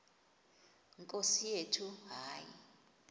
nkosi yethu hayi